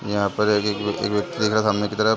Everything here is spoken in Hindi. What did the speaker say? यहाँ पर एक सामने की तरफ --